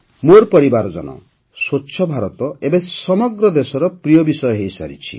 ମୋର ପରିବାରଜନ ସ୍ୱଚ୍ଛ ଭାରତ ଏବେ ସମଗ୍ର ଦେଶର ପ୍ରିୟ ବିଷୟ ହୋଇଯାଇଛି